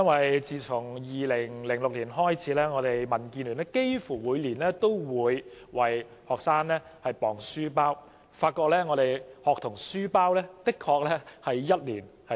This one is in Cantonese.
民建聯自2006年起，幾乎每年都為學生量度書包重量，而且發現他們的書包一年比一年重。